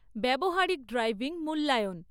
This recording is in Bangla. ব্যবহারিক ড্রাইভিং মূল্যায়ন